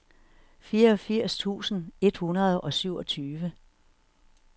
fireogfirs tusind et hundrede og syvogtyve